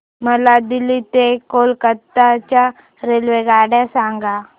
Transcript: मला दिल्ली ते कोलकता च्या रेल्वेगाड्या सांगा